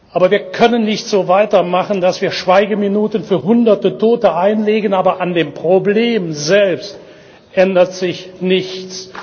Aber wir können nicht so weitermachen, dass wir Schweigeminuten für Hunderte Tote einlegen, aber an dem Problem selbst ändert sich nichts.